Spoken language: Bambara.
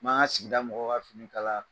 N m'an ka sigida mɔgɔ ka fini kala yan nɔ.